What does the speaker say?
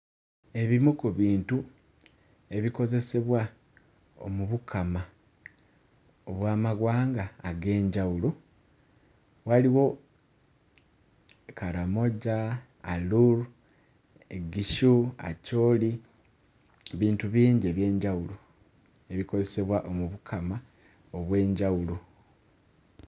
Ebimu ku bintu ebikozesebwa mu Bukama obw'amawanga ag'enjawulo, waliwo Karamoja, Alur, Igishu, Acholi, bintu bingi eby'enjawulo ebikozesebwa mu Bukama obw'enjawulo.